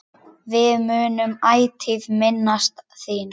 Við munum ætíð minnast þín.